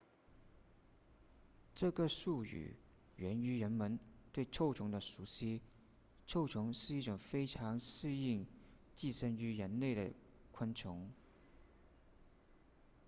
这个术语源于人们对臭虫的熟悉臭虫是一种非常适应寄生于人类的昆虫